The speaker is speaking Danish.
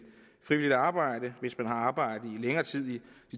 frivilligt arbejde hvis man har haft arbejde i længere tid end